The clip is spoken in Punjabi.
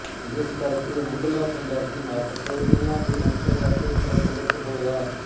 ਜਿਸ ਕਰਕੇ ਮੁੱਢਲਾ ਪੰਜਾਬੀ ਨਾਟਕ ਇਨ੍ਹਾਂ ਦੇ ਅੰਤਰਗਤ ਪ੍ਰਫੁਲਤ ਹੋਇਆ